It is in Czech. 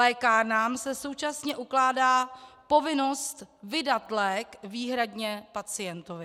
Lékárnám se současně ukládá povinnost vydat lék výhradně pacientovi.